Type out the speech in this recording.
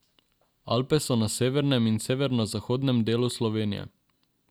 Alpe so na severnem in severozahodnem delu Slovenije.